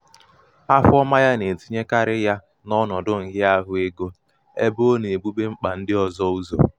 afọọma yā nà-ètinyekarị ya n’ọnọdụ nhịaahụ egō ebe ọ nà-èbube mkpà ndị ọ̀zọ ụzọ̀.